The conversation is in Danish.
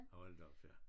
Hold da op ja